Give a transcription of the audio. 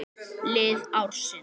Lið ársins